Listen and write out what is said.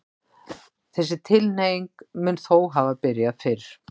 Þessi tilhneiging mun þó hafa byrjað fyrr.